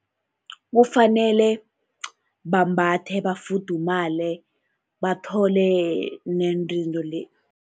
Kufanele bambathe bafuthumale, bathole